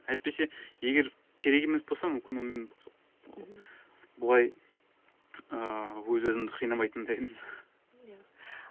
әйтпесе егер керек емес болса мүмкін ол мен ол былай ыыы өз өзімді қинамайтын да едім иә